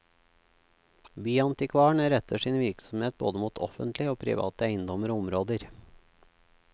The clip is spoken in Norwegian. Byantikvaren retter sin virksomhet både mot offentlige og private eiendommer og områder.